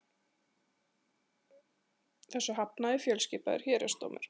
Þessu hafnaði fjölskipaður héraðsdómur